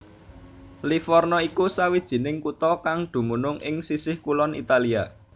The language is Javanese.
Livorno iku sawijining kutha kang dumunung ing sisih kulon Italia